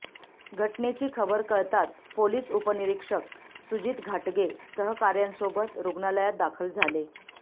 घटनेची खबर कळताच पोलिस उपनिरीक्षक सुजित घाटगे सहकार्यांसोबत रूग्णालयात दाखल झाले